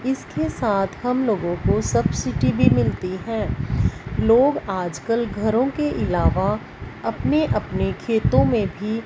इसके साथ हम लोगों को सब्सिडी भी मिलती है लोग आजकल घरों के अलावा अपने अपने खेतों में भी--